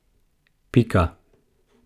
Pika.